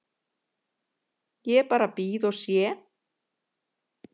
Ég bara bíð og sé.